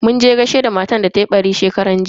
Muje gaishe da matar da tayi ɓari shekaran jiya.